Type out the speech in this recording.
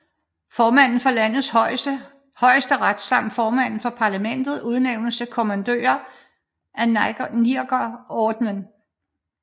Formanden for landets højesteret samt formanden for parlamentet udnævnes til kommandører af Nigerordenen